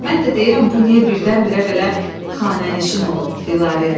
Mən də deyirəm bu niyə birdən-birə belə xanənişin olub Dilarəyə.